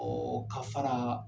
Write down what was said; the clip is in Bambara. Ɔɔ ka fara